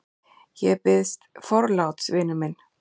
Ég biðst forláts, vinur minn.